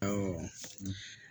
Ɔwɔ